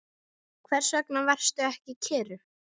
Hvers vegna varstu ekki kyrr?